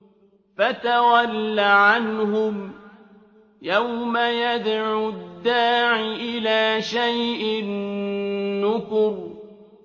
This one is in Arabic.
فَتَوَلَّ عَنْهُمْ ۘ يَوْمَ يَدْعُ الدَّاعِ إِلَىٰ شَيْءٍ نُّكُرٍ